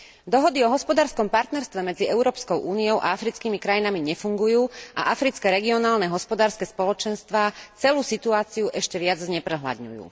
Dohody o hospodárskom partnerstve medzi Európskou úniou a africkými krajinami nefungujú a africké regionálne hospodárske spoločenstvá celú situáciu ešte viac zneprehľadňujú.